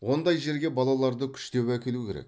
ондай жерге балаларды күштеп әкелу керек